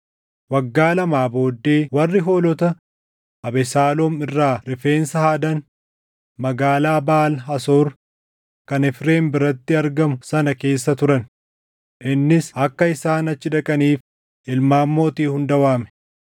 Waggaa lamaa booddee warri hoolota Abesaaloom irraa rifeensa haadan magaalaa Baʼaal Hasoor kan Efreem biratti argamu sana keessa turan; innis akka isaan achi dhaqaniif ilmaan mootii hunda waame.